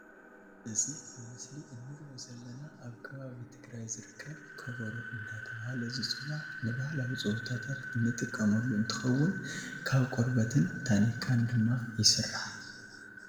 እዚ ኣብ ምስሊ ንርኦ ዘለና ኣብ ከባቢ ትግራይ ዝርከብ ከበሮ እንዳተባሃለ ዝዕዋዕ ንባህላዊ ፀወታታት ንጥቀመሉ እንትከውን፣ ካብ ቆርበትን ታኒካን ድማ ይስራሕ ።